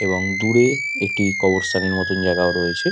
এবং দূরে একটি কবর স্থানের মতো জায়গা ও রয়েছে।